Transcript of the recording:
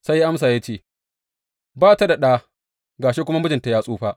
Sai ya amsa ya ce, Ba ta da ɗa, ga shi kuma mijinta ya tsufa.